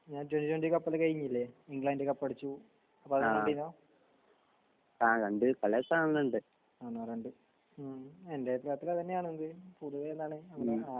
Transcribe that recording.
ഞാൻ twenty twenty കപ്പൊക്കെ കഴിഞ്ഞില്ലേ? ഇംഗ്ലണ്ട് കപ്പടിച്ചു. ഹ്മ്